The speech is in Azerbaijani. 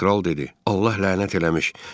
Kral dedi: Allah lənət eləmiş.